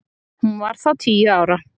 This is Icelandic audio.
Hún var þá tíu ára.